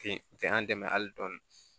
Ten an dɛmɛ hali dɔɔni